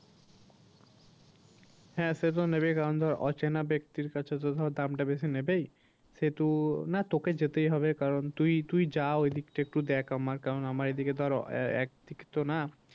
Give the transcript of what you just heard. হ্যাঁ সে তো নেবেই কারণ ধর অচেনা ব্যাক্তির কাছে তো ধর দামটা বেশি নেবেই। সেহেতু না তোকে যেতেই হবে কারণ তুই, তুই যা ওইদিকটা একটু দেখ আমার কারণ আমার এইদিকে ধর আহ একদিক তো না